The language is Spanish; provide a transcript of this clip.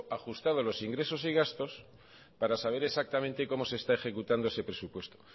ajustado a los ingresos y gastos para saber exactamente cómo se está ejecutando ese presupuesto